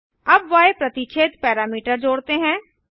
अबy प्रतिच्छेद पैरामीटर जोड़ते हैं